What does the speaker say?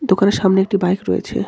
দোকানের সামনে একটি বাইক রয়েছে.